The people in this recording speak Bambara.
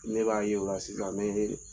Ne b'a ye o la sisan ne